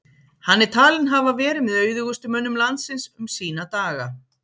hann er talinn hafa verið með auðugustu mönnum landsins um sína daga